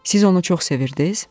Siz onu çox sevirdiz?